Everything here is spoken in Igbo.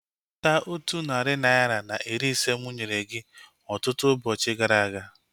Weta otu narị naira na iri ise mụ nyere gị ọtụtụ ụbọchị gara aga